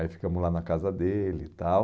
Aí ficamos lá na casa dele e tal...